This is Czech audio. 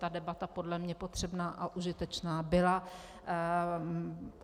Ta debata podle mě potřebná a užitečná byla.